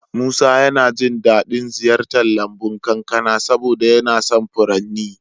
Musa yana jin daɗin ziyartar lambun kakansa saboda yana son furanni.